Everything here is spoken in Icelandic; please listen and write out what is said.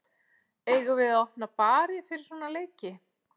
Eigum við að opna bari fyrir svona leiki?